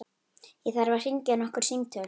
Ég þarf að hringja nokkur símtöl.